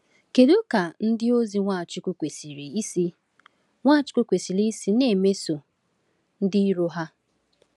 Kedu ka ndịozi Nwachukwu kwesịrị isi Nwachukwu kwesịrị isi na-emeso ndị iro ha?